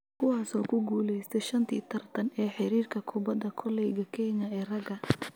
kuwaasoo ku guuleystay shantii tartan ee xiriirka kubbadda koleyga Kenya ee ragga